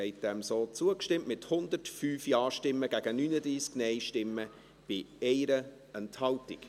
Sie haben dem so zugestimmt, mit 105 Ja- gegen 39 Nein-Stimmen bei 1 Enthaltung.